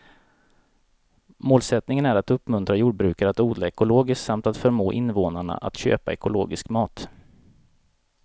Målsättningen är att uppmuntra jordbrukare att odla ekologiskt samt att förmå invånarna att köpa ekologisk mat.